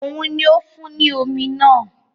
Òun ni ó fún un ní omi náà